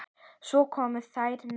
Svo komu þeir nær.